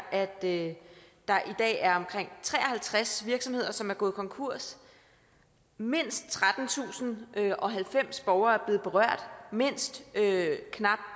at der i dag er omkring tre og halvtreds virksomheder som er gået konkurs mindst trettentusinde og halvfems borgere og mindst knap